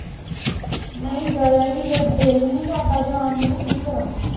ਨਹੀਂ ਜਾਇਆ ਹੀ ਨਹੀਂ ਗਿਆ ਦਿਲ ਹੀ ਨਹੀਂ ਕਰਦਾ ਜਾਣ ਨੂੰ ਤੇ ਕੀ ਕਰਾਂ?